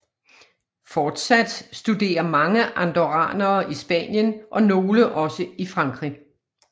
Fortsat studerer mange andorranere i Spanien og nogle også i Frankrig